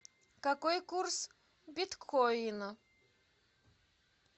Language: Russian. какой курс биткоина